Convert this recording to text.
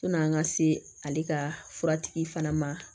Sɔni an ka se ale ka furatigi fana ma